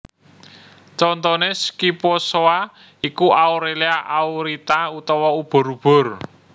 Contoné Scyphozoa iku Aurelia Aurita utawa ubur ubur